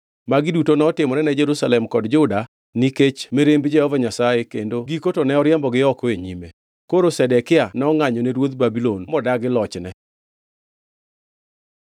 Magi duto notimore ne Jerusalem kod Juda nikech mirimb Jehova Nyasaye kendo giko to ne oriembogi oko e nyime. Jerusalem opodho Koro Zedekia nongʼanyone ruodh Babulon modagi lochne.